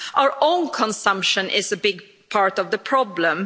Our own consumption is a big part of the problem